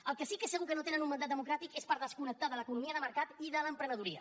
per al que sí que és segur que no tenen un mandat democràtic és per desconnectar de l’economia de mercat i de l’emprenedoria